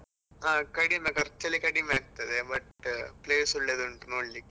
ಹಾ ಕಡಿಮೆ, ಖರ್ಚೆಲ್ಲ ಕಡಿಮೆ ಆಗ್ತದೆ but place ಒಳ್ಳೆದುಂಟು, ನೋಡ್ಲಿಕ್ಕೆ.